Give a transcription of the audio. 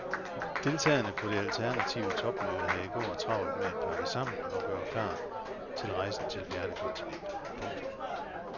Deltagere på det alternative topmøde havde i går travlt med at pakke sammen og gøre klar til rejsen til fjerne kontinenter. punktum